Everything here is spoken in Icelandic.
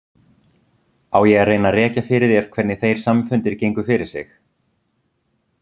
Á ég að reyna að rekja fyrir þér hvernig þeir samfundir gengu fyrir sig?